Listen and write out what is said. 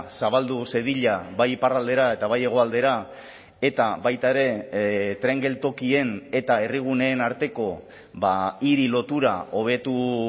zabaldu zedila bai iparraldera eta bai hegoaldera eta baita ere tren geltokien eta herriguneen arteko hiri lotura hobetu